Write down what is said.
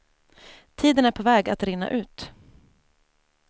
Tiden är på väg att rinna ut.